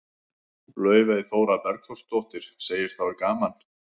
Laufey Þóra Borgþórsdóttir, segir það gaman.